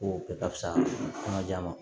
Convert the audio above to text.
Ko bɛɛ ka fisa an ka j'an ma